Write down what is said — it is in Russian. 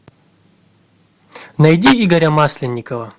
найди игоря масленникова